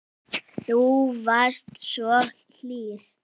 Þú varst svo hlýr.